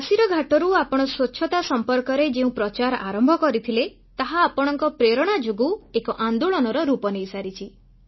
କାଶୀର ଘାଟରୁ ଆପଣ ସ୍ୱଚ୍ଛତା ସମ୍ପର୍କରେ ଯେଉଁ ପ୍ରଚାର ଆରମ୍ଭ କରିଥିଲେ ତାହା ଆପଣଙ୍କ ପ୍ରେରଣା ଯୋଗୁଁ ଏକ ଆନ୍ଦୋଳନର ରୂପ ନେଇସାରିଛି